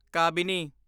Kabini